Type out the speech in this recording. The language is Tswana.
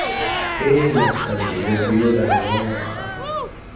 heela thando motho yole noga